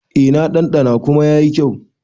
E, na ɗanɗana kuma yayi kyau.